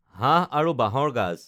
হাঁহ আৰু বাঁহৰ গাজ